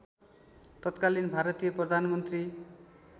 तत्कालीन भारतीय प्रधानमन्त्री